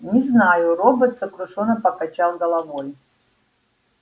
не знаю робот сокрушённо покачал головой